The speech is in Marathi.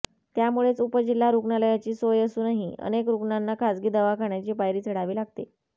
त्यामुळेच उपजिल्हा रुग्णालयाची सोय असूनही अनेक रुग्णांना खासगी दवाखान्याची पायरी चढावी लागते